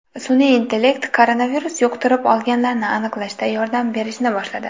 Sun’iy intellekt koronavirus yuqtirib olganlarni aniqlashda yordam berishni boshladi.